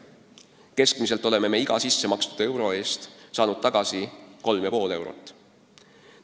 Keskmiselt oleme iga sissemakstud euro eest saanud tagasi 3,5 eurot.